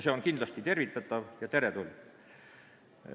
See on kindlasti tervitatav ja teretulnud.